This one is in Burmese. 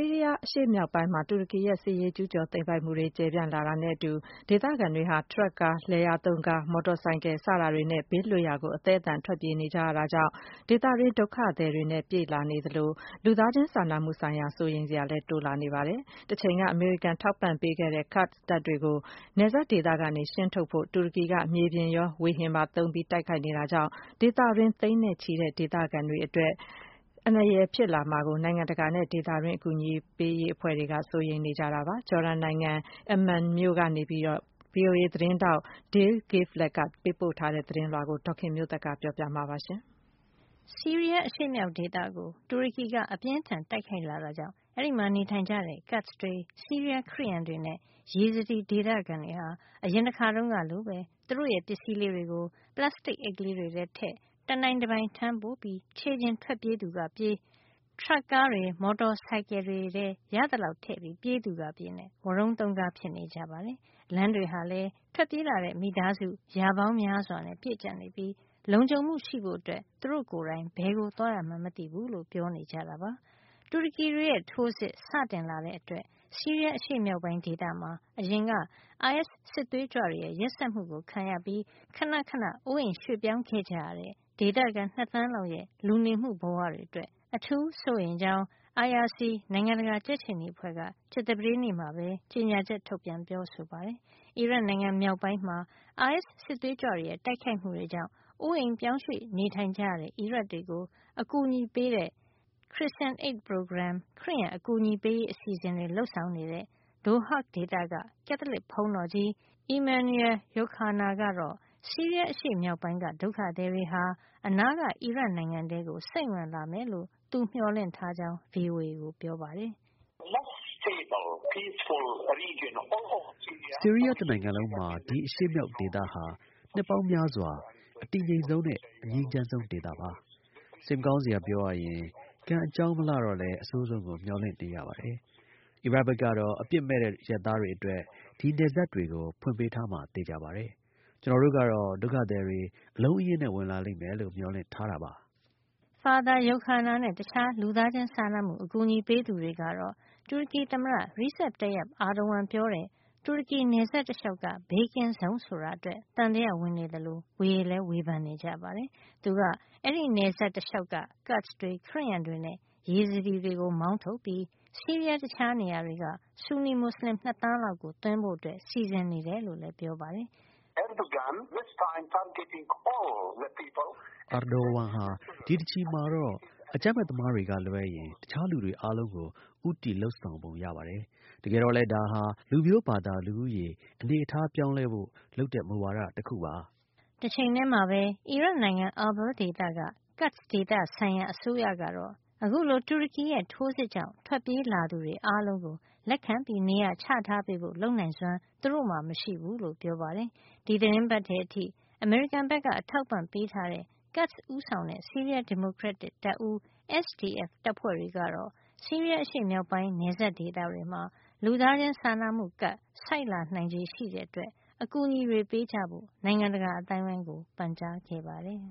ီးရီးယား အရှေ့မြောက်ပိုင်းမှာ တူရကီရဲ့ စစ်ရေးကျူးကျော်သိမ်းပိုက်မှုတွေ ကျယ်ပြန့်လာတာနဲ့အတူ ဒေသခံတွေဟာ ထရပ်ကားတွေ၊ လယ်ယာသုံးကားတွေ၊ မော်တော်ဆိုင်ကယ်တွေနဲ့ ဘေးလွတ်ရာ အသဲအသန်ထွက်ပြေးကြရတာကြောင့် ဒေသတွင်းဒုက္ခသည်တွေနဲ့ ပြည့်လာသလို လူသားချင်းစာနာမှုဆိုင်ရာ စိုးရိမ်စရာလည်းတိုးလာနေပါတယ်။ တချိန်က အမေရိကန်ထောက်ပံ့မှုပေးခဲ့တဲ့ Kurds တပ်တွေကို နယ်စပ်ဒေသကနေ ရှင်းထုတ်ဖို့ တူရကီက မြေပြင်ထိုးစစ်တွေရော လေကြောင်းတိုက်ခိုက်မှုတွေပါ လုပ်နေတာကြောင့် ဒေသတွင်း သိန်းနဲ့ချီတဲ့ဒေသခံတွေအတွက် အန္တရာယ်ဖြစ်လာမှာကို နိုင်ငံတကာနဲ့ ဒေသတွင်း အကူအညီပေးရေး အဖွဲ့တွေက စိုးရိမ်နေကြတာပါ။ Jordan နိုင်ငံ Amman က VOA သတင်းထောက် Dale Gavlak ပေးပို့ထားတဲ့ သတင်းကို ဒေါ်ခင်မျိုးသက်က ပြောပြပေးမှာပါ။ ဆီးရီးယား အရှေ့မြောက်ဒေသကို တူရကီက အပြင်းအထန် တိုက်ခိုက်လာတာကြောင့် အဲဒီမှာ နေထိုင်ကြတဲ့ Kurds တွေ ဆီးရီးယားခရစ်ယန်တွေနဲ့ Yazidi ဒေသခံတွေဟာ အရင်တခါတုန်းကလိုပဲ သူတို့ရဲ့ပစ္စည်းလေးတွေကို ပလပ်စတစ်အိတ်လေးတွေထဲထည့် တနိုင်တပိုင် ထမ်းပိုးပြီး ခြေကျင်ထွက်ပြေးသူက ထွက်ပြေး၊ ထရပ်ကားတွေ မော်တော်ဆိုင်ကယ်တွေထဲ ရသလောက် ထည့်ပြီးပြေးသူက ပြေးနဲ့ ဝရုန်းသုန်းကား ဖြစ်နေကြပါတယ်။ လမ်းတွေဟာလည်း ထွက်ပြေးလာတဲ့ မိသားစု ရာပေါင်းများစွာနဲ့ ပြည့်ကြပ်နေပြီး လုံခြုံမှုရှိဖို့ သူတို့ကိုယ်တိုင် ဘယ်ကိုသွားရမှန်း မသိဘူးလို့ ပြောနေကြတာပါ။ တူရကီတွေရဲ့ ထိုးစစ် စတင်လာတဲ့အတွက် ဆီးရီးယားအရှေ့မြောက်ပိုင်း ဒေသမှာ အရင်ကအိုင်အက်စ် စစ်သွေးကြွတွေရဲ့ ရက်စက်မှုတွေ ခံခဲ့ရပြီး ခဏခဏ အိုးအိမ်ရွှေ့ပြောင်း ခဲ့ကြရတဲ့ ဒေသခံ ၂ သန်းလောက်ရဲ့ လူနေမှုဘဝတွေ အတွက် အထူးစိုးရိမ်ကြောင်း IRC နိုင်ငံတကာကြက်ခြေနီအဖွဲ့ က ကြာသပတေးနေ့မှာ ကြေညာချက် ထုတ်ပြန်ပြောဆိုပါတယ်။ အီရတ်နိုင်ငံမြောက်ပိုင်းမှာ အိုင်အက်စ် စစ်သွေးကြွတွေရဲ့ တိုက်ခိုက်မှုကြောင့် အိုးအိမ်ရွှေ့ပြောင်းကြရတဲ့ အီရတ်တွေကို အကူညီပေးတဲ့ Christian Aid Program ခရစ်ယံအကူညီပေးရေး အစီအစဉ်တွေ လုပ်ဆောင်နေတဲ့ Dohuk ဒေသက ကက်သလစ်ဘုန်းတော်ကြီး Emanuel Youkhana ကတော့ ဆီးရီးယာအရှေ့မြောက်ပိုင်းက ဒုက္ခသည်တွေဟာ အနားက အီရတ်နိုင်ငံထဲကို စိမ့်ဝင်လာမယ်လို့ သူမျှော်လင့်ထားကြောင်း VOA ကို ပြောပါတယ်။ “ဆီးရီးယားတနိုင်ငံလုံးမှာ ဒီအရှေ့မြောက်ဒေသဟာ နှစ်ပေါင်းများစွာ အတည်ငြိမ်ဆုံးနဲ့ အငြိမ်းချမ်းးဆုံးဒေသပါ။ စိတ်မကောင်းစရာ ပြောရရင် ကံအကြောင်း မလှတော့လည်း အဆိုးဆုံးကို မျှော်လင့်နေရပါတယ်။ အီရတ်ဘက်ကတော့ အပစ်မဲ့တဲ့ အရပ်သားတွေ အတွက် ဒီနယ်စပ်တွေကို ဖွင့်ပေးထားမှာ သေချာပါတယ်။ ကျနော်တို့ကတော့ ဒုက္ခသည်တွေ အလုံးအရင်းနဲ့ ဝင်လာမယ်လို့ မျှော်လင့်ထားတာပါ။” Father Youkhana နဲ့ တခြားလူသားချင်းစာနာမှု အကူညီပေးသူတွေကတော့ တူရကီသမ္မတ Recep Tayyip Erdogan ပြောတဲ့ တူရကီ နယ်စပ်တလျှောက်က ဘေးကင်းဇုံ ဆိုတာအတွက် သံသယဝင်နေသလို ဝေလည်းဝေဖန်နေကြပါတယ်။ သူက အဲဒီနယ်စပ်တလျှောက်က Kurds တွေ ခရစ်ယန်တွေနဲ့ Yazidis တွေကို မောင်းထုတ်ပြီး ဆီးရီးယား တခြားနေရာတွေက ဆူနီမူစလင် ၂ သန်းလောက်ကို သွင်းဖို့ စီစဉ် နေတယ် လို့လည်း ပြောပါတယ်။ “Erdogan ဟာ ဒီတချီမှာတော့ အကြမ်းဖက်သမားတွေကလွဲရင် တခြားလူတွေ အားလုံးကို ဦးတည်လုပ်ဆောင်ပုံ ရပါတယ်။ တကယ်တော့လည်း ဒါဟာ လူမျိုးဘာသာ လူဦးရေ အနေထားပြောင်းလဲဖို့ လုပ်တဲ့မူဝါဒ တခုပါ။” တချိန်ထဲမှာပဲ အီရတ်နိုင်ငံ Irbil ဒေသက Kurd ဒေသဆိုင်ရာအစိုးရကတော့ အခုလို တူရကီရဲ့ ထိုးစစ်ကြောင့် ထွက်ပြေးလာသူတွေ အားလုံးကို လက်ခံနေရာချထားပေးဖို့ လုပ်နိုင်စွမ်း သူတို့မှာ မရှိဘူးလို့ ပြောပါတယ်။ ဒီသီတင်းပတ်ထဲ အထိ အမေရိကန်က အထောက်ပံ့ပေးထားတဲ့ Kurds ဦးဆောင်တဲ့ ဆီးရီးယား ဒီမိုကရက်တစ် တပ်ဦး SDF တပ်ဖွဲ့တွေကတော့ ဆီးရီးယား အရှေ့မြောက်ပိုင်း နယ်စပ်ဒေသတွေမှာ လူသားစာနာမှုကပ် ဆိုက်နိုင်ချေ ရှိနေတဲ့အတွက် အကူညီတွေ ပေးကြဖို့ နိုင်ငံတကာ အသိုင်းအဝိုင်းကို ပန်ကြားခဲ့ပါတယ်